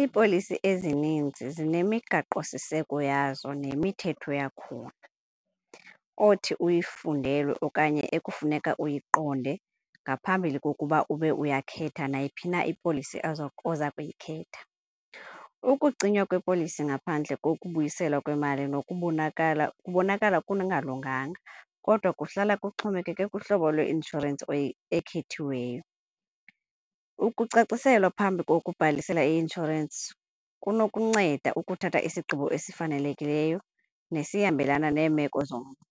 Iipolisi ezininzi zinemigaqosiseko yazo nemithetho yakhona othi uyifundelwe okanye ekufuneka uyiqonde ngaphambili kokuba ube uyakhetha nayiphina ipolisi oza oza kuyikhetha. Ukucinywa kwipolisi ngaphandle kokubuyiselwa kwemali nokubonakala kubonakala kungalunganga kodwa kuhlala kuxhomekeke kuhlobo lweinshorensi ekhethiweyo. Ukucaciselwa phambi kokubhalisela i-inshorensi kunokunceda ukuthatha isigqibo esifanelekileyo nesihambelana neemeko zomntu.